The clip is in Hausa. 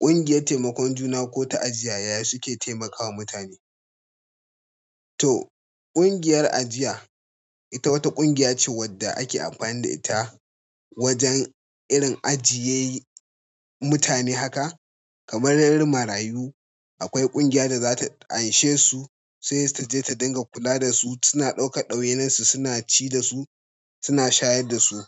Ƙungiyar taimakon juna ko ta ajiya ya suke taimakawa mutane. To ƙungiyar ajiya ita wata ƙungiya ce wadda ake amfani da ita wajen irin ajiye mutane haka kamar irin marayu. Akwai ƙungiya da zata anshe su sai ta je ta dinga kula da su, suna ɗaukar ɗawainarsu, suna ci da su, suna shayar da su.